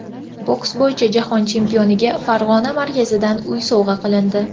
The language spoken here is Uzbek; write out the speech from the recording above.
Boks bo‘yicha Jahon chempioniga Farg‘ona markazidan uy sovg‘a qilindi.